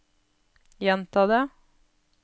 gjenta det